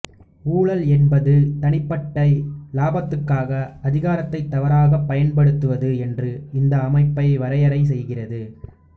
ஊழல் என்பது தனிப்பட்ட இலாபத்துக்காக அதிகாரத்தை தவறாகப் பயன்படுத்துவது என்று இந்த அமைப்பு வரையறை செய்கிறது